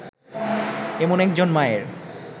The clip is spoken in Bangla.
এমন একজন মায়ের